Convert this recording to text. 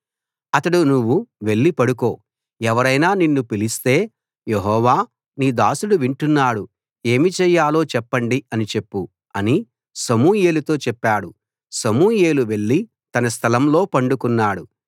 అతడు నువ్వు వెళ్ళి పడుకో ఎవరైనా నిన్ను పిలిస్తే యెహోవా నీ దాసుడు వింటున్నాడు ఏమి చేయాలో చెప్పండి అని చెప్పు అని సమూయేలుతో చెప్పాడు సమూయేలు వెళ్ళి తన స్థలంలో పండుకున్నాడు